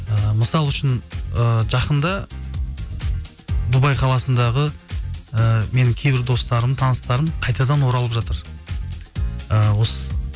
ііі мысалы үшін ыыы жақында дубай қаласындағы ііі менің кейбір достарым таныстарым қайтадан оралып жатыр ыыы осы